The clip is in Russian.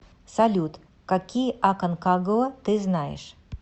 салют какие аконкагуа ты знаешь